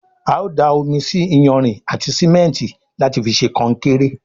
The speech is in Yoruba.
ào dá omí sí iyanrìn àti simẹnti láti fí ṣe konkéré.